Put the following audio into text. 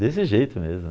Desse jeito mesmo.